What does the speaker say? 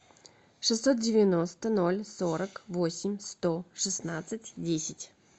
шестьсот девяносто ноль сорок восемь сто шестнадцать десять